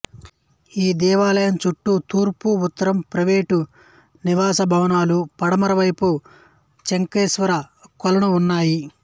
ఈ దేవాలయం చుట్టూ తూర్పు ఉత్తరం ప్రైవేటు నివాస భవనాలు పడమర వైపు చక్రేశ్వర కొలను ఉన్నాయి